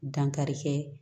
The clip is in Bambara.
Dankarikɛ